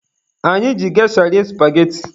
Anyị ji gesha rie supageti.